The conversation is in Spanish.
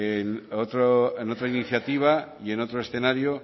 en otra iniciativa y en otro escenario